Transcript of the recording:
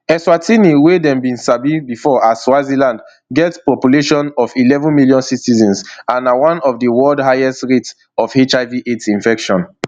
eswatini wey dem bin sabi before as swaziland get population of eleven million citizens and na one of di world highest rates of hivaids infection